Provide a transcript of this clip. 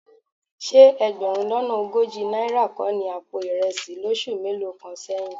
Ṣé ẹgbẹ̀rún lọ́nà ogójì náírà kọ́ ni àpò ìrẹsì lóṣù mélòó kan sẹ́yìn?